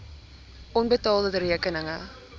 onbetaalde rekeninge